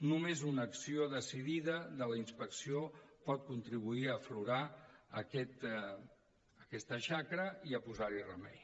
només una acció decidida de la inspecció pot contribuir a aflorar aquesta xacra i a posar hi remei